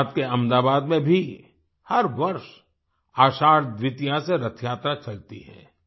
गुजरात के अहमदाबाद में भी हर वर्ष आषाढ़ द्वितीया से रथयात्रा चलती है